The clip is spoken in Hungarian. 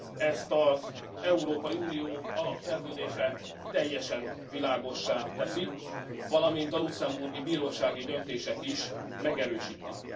Ezt az Európai Unió alapszerződése teljesen világossá teszi, valamint a luxemburgi bírósági döntések is megerősítik.